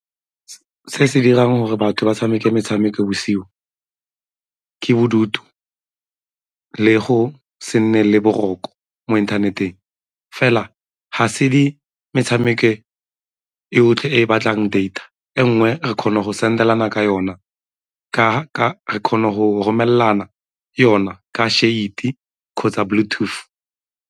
Se se dirang gore batho ba tshameke metshameko bosigo ke bodutu le go se nne le boroko mo inthaneteng. Fela ga se metshameko e otlhe e batlang data, e nngwe re kgona go send-elana ka yona, re kgona go romelelana yona ka SHAREit-e kgotsa Bluetooth.